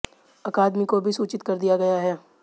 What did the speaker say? अकादमी को भी सूचित कर दिया गया है